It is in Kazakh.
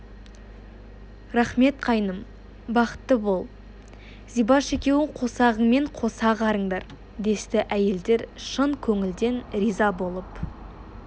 рақмет қайным бақытты бол зибаш екеуің қосағыңмен қоса ағарыңдар десті әйелдер шын көңілден риза болып